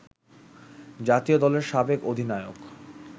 জাতীয় দলের সাবেক অধিনায়ক